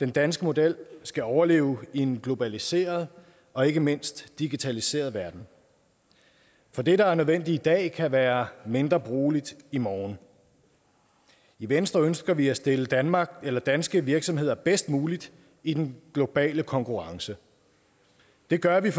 den danske model skal overleve i en globaliseret og ikke mindst digitaliseret verden for det der er nødvendigt i dag kan være mindre brugbart i morgen i venstre ønsker vi at stille danmark eller danske virksomheder bedst muligt i den globale konkurrence det gør vi